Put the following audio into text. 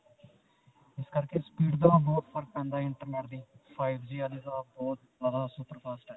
ਇਸ ਕਰਕੇ speed ਦਾ ਬਹੁਤ ਫਰਕ ਪੈਂਦਾ internet ਦੀ five G ਵਾਲੇ ਤਾਂ ਬਹੁਤ ਅਅ ਸੁਪਰ ਫ਼ਾਸਟ ਹੈ.